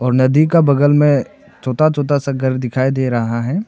और नदी का बगल में छोटा छोटा सा घर दिखाई दे रहा है।